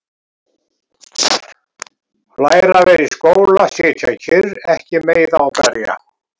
Læra að vera í skóla- sitja kyrr- ekki meiða og berja